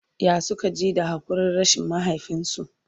ya Suka ji da hakurin rashin mahaifinsu?